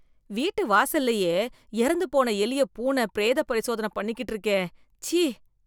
வீட்டு வாசலிலேயே இறந்து போன எலிய பூனை பிரேத பரிசோதன பண்ணிக்கிட்டு இருக்கே, ச்சீ.